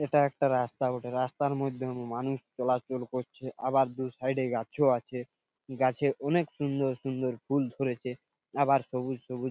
এইটা একটা রাস্তা বটে রাস্তার মধ্যে মানুষ চলাচল করছে আবার দু সাইড -এ গাছও আছে গাছে অনকে সুন্দর সুন্দর ফুল ধরেছে আবার সবুজ সুবুজ--